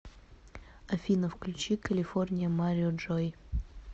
афина включи калифорния марио джой